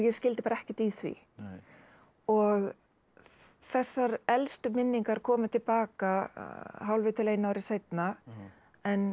skildi bara ekkert í því og þessar elstu minningar komu til baka hálfu til einu ári seinna en